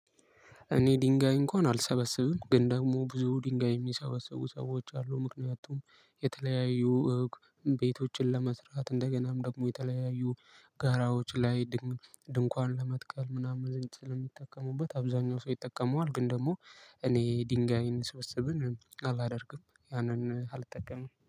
እኔ ድንጋይ እንኳን አልሰበሰብም ግን ደግሞ ብዙ ድንጋይ የሚሰበሰቡ ሰዎች አሉ ምክንያቱም የተለያዩ ቤቶችን ለመስራት እንደገናም ደግሞ የተለያዩ ጋራዎች ላይ ድንኳን ለመትከል ምናምን ስለሚጠቀሙበት አብዛኛው ሰው ይጠቀመዋል ግን ደግሞ እኔ ድንጋይን ስብስብን አላደርግም ያንን አልጠቀምም።